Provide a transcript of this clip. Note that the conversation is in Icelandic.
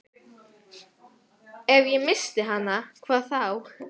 Ef ég missti hana, hvað þá?